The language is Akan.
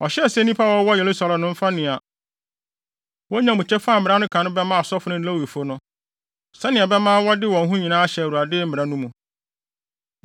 Ɔhyɛɛ sɛ nnipa a wɔwɔ Yerusalem no mfa nea wonya mu kyɛfa a mmara no ka no bɛma asɔfo no ne Lewifo no, sɛnea ɛbɛma wɔde wɔn ho nyinaa ahyɛ Awurade Mmara no mu.